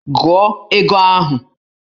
Gụọ ego ahụ!